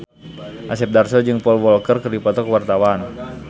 Asep Darso jeung Paul Walker keur dipoto ku wartawan